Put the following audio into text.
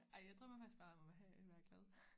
Ej jeg drømmer faktisk bare om at have at være glad